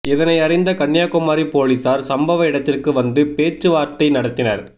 இதனை அறிந்த கன்னியாகுமரி போலீசார் சம்பவ இடத்திற்கு வந்து பேச்சவார்த்தை நடத்தினர்